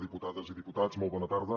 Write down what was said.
diputades i diputats molt bona tarda